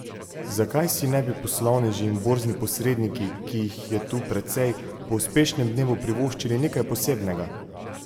Zakaj si ne bi poslovneži in borzni posredniki, ki jih je tu precej, po uspešnem dnevu privoščili nekaj posebnega?